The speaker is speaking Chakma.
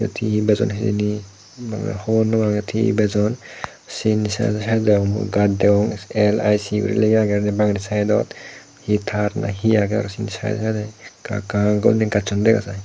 yot hi hi bejon hijeni gomey hobonopang yot hi bejon siyeni saidey saidey mui gaj deong L_I_C guri lega agey bangedi saidot hi tar na hi agey aro sindi saidey saidey ekka ekka guri gajsun dega jai.